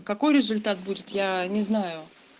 какой результат будет я не знаю